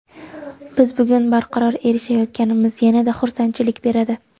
Biz bunga barqaror erishayotganimiz yana-da xursandchilik beradi.